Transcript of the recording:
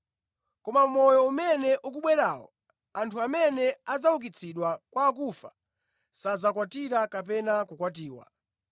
Koma mʼmoyo umene ukubwerawo, anthu amene adzaukitsidwe kwa akufa sadzakwatira kapena kukwatiwa.